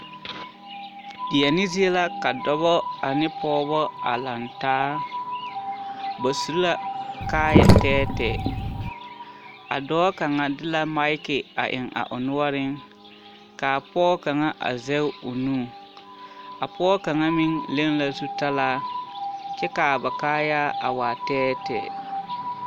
Deɛne zie la ka dɔbɔ ane pɔgebɔ a lantaa, ba su la kaaya tɛɛtɛɛ, a dɔɔ kaŋa de la maki a eŋ a o noɔreŋ k'a pɔge kaŋa a zɛge o nu, a pɔge kaŋa meŋ leŋ la zutalaa kyɛ k'a ba kaayaa a waa tɛɛtɛɛ.